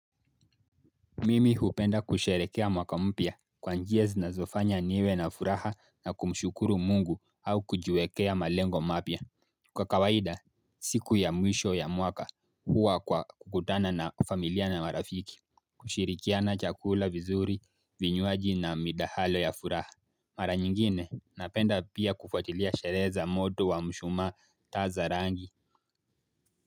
Mimi hupenda kusherehekea mwaka mpya kwa njia zinazofanya niwe na furaha na kumshukuru mungu au kujiwekea malengo mapya. Kwa kawaida siku ya mwisho ya mwaka huwa kwa kukutana na familia na marafiki. Kushirikiana chakula vizuri vinywaji na midahalo ya furaha. Mara nyingine napenda pia kufuatilia sherehe za moto wa mshumaa taa za rangi.